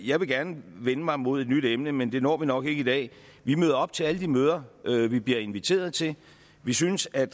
jeg gerne vil vende mig mod et nyt emne men det når vi nok ikke i dag vi møder op til alle de møder vi bliver inviteret til vi synes at